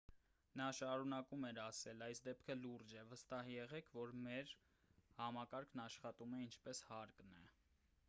նա շարունակում էր ասել․«այս դեպքը լուրջ է։ վստահ եղեք որ մեր համակարգն աշխատում է ինչպես հարկն է»։